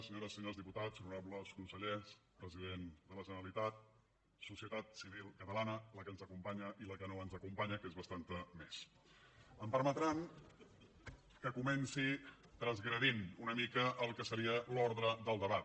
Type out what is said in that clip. senyores i senyors diputats honorables consellers president de la generalitat societat civil catalana la que ens acompanya i la que no ens acompanya que és bastant més em permetran que comenci transgredint una mica el que seria l’ordre del debat